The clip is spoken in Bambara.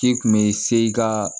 K'i kun bɛ se i ka